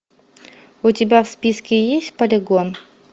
у тебя в списке есть полигон